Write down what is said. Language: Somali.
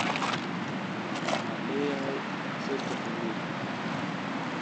Waxaan leeyahay saddex wiil.